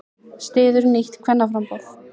Styður nýtt kvennaframboð